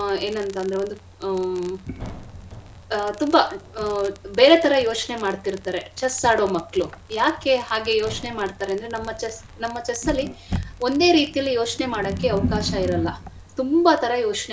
ಒಂದು ಆ ಏನಂತಂದ್ರೆ ಆ ತುಂಬಾ ಬೇರೆ ತರ ಯೋಚ್ನೆ ಮಾಡ್ತಿರ್ತಾರೆ chess ಆಡೋ ಮಕ್ಳು ಯಾಕೆ ಹಾಗೆ ಯೋಚ್ನೆ ಮಾಡ್ತಾರೆ ಅಂದ್ರೆ ನಮ್ಮ chess ನಮ್ಮ chess ಅಲ್ಲಿ ಒಂದೇ ರೀತಿಯಲ್ಲಿ ಯೋಚ್ನೆ ಮಾಡಕ್ಕೆ ಅವ್ಕಾಶ ಇರಲ್ಲ ತುಂಬಾ ತರ.